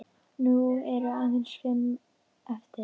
Nú eru aðeins fimm eftir.